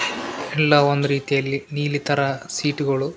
ಎಲ್ಲಾ ಒಂದ್ ರೀತಿಯಲ್ಲಿ ನೀಲಿ ತರ ಸೀಟ್ಗಳು --